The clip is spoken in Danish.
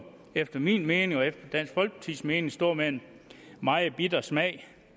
efter min mening og efter dansk folkepartis mening stå med en meget bitter smag